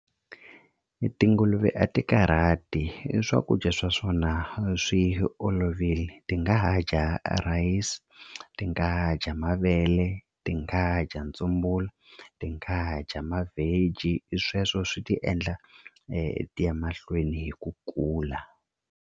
Tinguluve a ti karhati i swakudya swa swona swi olovile ti nga ha dya rhayisi ti nga dya mavele ti nga dya ntsumbulu ti nga ha dya ma-veggie i sweswo swi ti endla ti ya mahlweni hi ku kula.